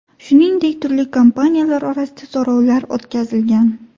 Shuningdek, turli kompaniyalar orasida so‘rovlar o‘tkazilgan.